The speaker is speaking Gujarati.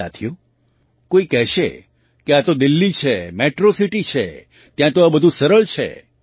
સાથીઓ કોઈ કહેશે કે આ તો દિલ્લી છે મેટ્રૉ સિટી છે ત્યાં તો આ બધું સરળ છે